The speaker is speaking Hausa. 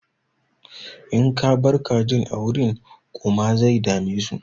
In ka bar kajin a wurin ƙuma zai dame su.